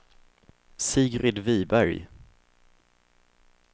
Sigrid Wiberg